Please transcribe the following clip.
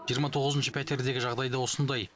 жиырма тоғызыншы пәтердегі жағдай да осындай